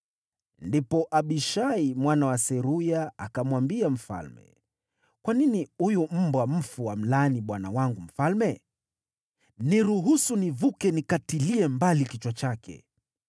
Ndipo Abishai mwana wa Seruya akamwambia mfalme, “Kwa nini huyu mbwa mfu amlaani bwana wangu mfalme? Niruhusu nivuke nikatilie mbali kichwa chake.”